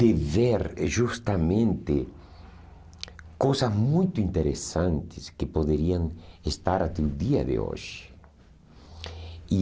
de ver justamente coisas muito interessantes que poderiam estar até o dia de hoje e